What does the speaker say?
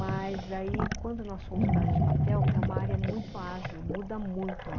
Mas aí, quando nós fomos para a área de papel, é uma área muito ágil, muda muito lá.